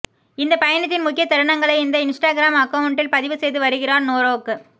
இந்தப் பயணத்தின் முக்கிய தருணங்களை இந்த இன்ஸ்டாகிராம் அக்கவுன்ட்டில் பதிவு செய்து வருகிறார் நோரோக்